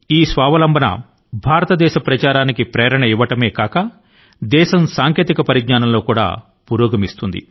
ఇది స్వయంసమృద్ధియుతమైన భారతదేశం దిశ గా పయనాన్ని వేగవంతం చేయడమే కాకుండా ఇది భారతదేశం లో సాంకేతిక విజ్ఞానం యొక్క పురోగతి ని ప్రోత్సహిస్తుంది కూడాను